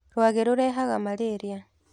Rwagĩrũrehaga malĩria.